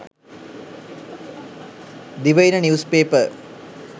divaina news paper